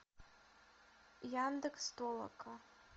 яндекс толока